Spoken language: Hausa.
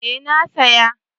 Eh na saya